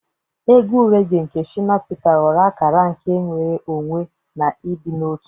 Egwu regee nke Shina Peter ghọrọ akara nke nnwere onwe na ịdị n'otu.